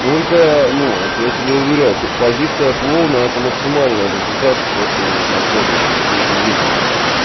только ну вот я тебя уверяю позиция клоуна это максимальный результат что ты вот на следующей всей этой деятельности